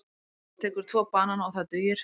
Hann tekur tvo banana og það dugir.